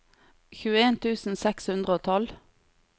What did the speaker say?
tjueen tusen seks hundre og tolv